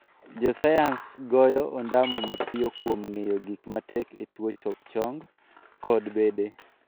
Jo sayans goyo ondamo mapiyo kuom ng'eyo gik matek e tuo choke chong kod bede.